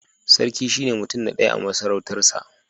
Sarki shine mutum na ɗaya a masarautarsa